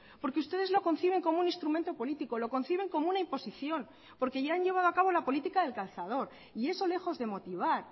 porque ustedes lo conciben como un instrumento político lo conciben como una imposición porque ya han llevado a cabo la política del cazador y eso lejos de motivar